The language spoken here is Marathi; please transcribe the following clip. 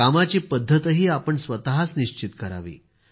कामाची पद्धतही आपण स्वतःच निश्चित करावी